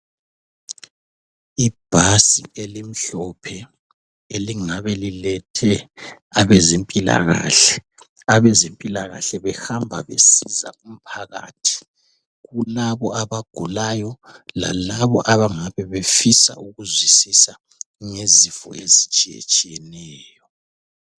Ibhasi elimhlophe elingabe lilethe abezempilakahle. Abezempilakahle behamba besiza umphakathi, kulabo abagulayo lalabo abangabe befisa ukuzwisisa ngezifo ezitshiyetshiyeneyo.